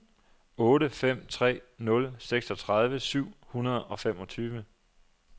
otte fem tre nul seksogtredive syv hundrede og femogtyve